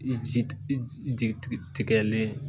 I Ji i jigi tigɛlen